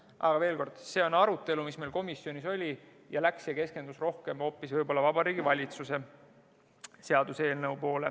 Aga veel kord: see arutelu, mis meil komisjonis oli, keskendus rohkem hoopis Vabariigi Valitsuse seaduseelnõule.